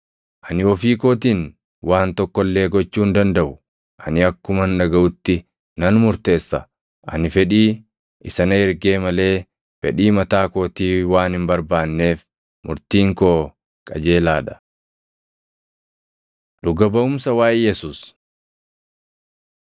Ani ofii kootiin waan tokko illee gochuu hin dandaʼu; ani akkuman dhagaʼutti nan murteessa; ani fedhii isa na ergee malee fedhii mataa kootii waan hin barbaanneef murtiin koo qajeelaa dha. Dhuga baʼumsa Waaʼee Yesuus